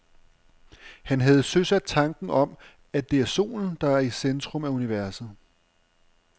Han havde søsat tanken om, at det er solen, der er i centrum af universet.